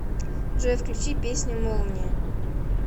джой включи песню молния